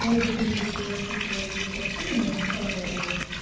но если ты видишь что я записываю видео сообщение но не отправляю его